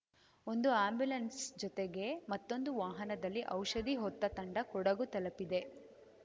ಒಂದು ಆ್ಯಂಬುಲೆನ್ಸ್‌ ಜೊತೆಗೆ ಮತ್ತೊಂದು ವಾಹನದಲ್ಲಿ ಔಷಧಿ ಹೊತ್ತ ತಂಡ ಕೊಡಗು ತಲುಪಿದೆ